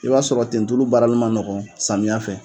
I b'a sɔrɔ tentulu bara li man nɔgɔ samiya fɛ.